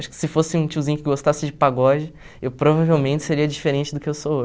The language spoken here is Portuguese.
Acho que se fosse um tiozinho que gostasse de pagode, eu provavelmente seria diferente do que eu sou